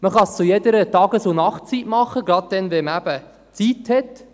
Man kann es zu jeder Tages- und Nachtzeit tun, gerade dann, wenn man eben Zeit hat.